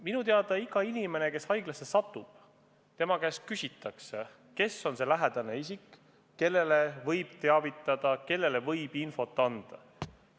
Minu teada igalt inimeselt, kes haiglasse satub, küsitakse, kes on see lähedane isik, keda võib teavitada ja kellele võib infot anda.